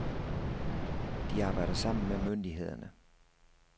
De arbejder sammen med myndighederne.